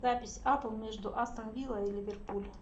запись апл между астон вилла и ливерпуль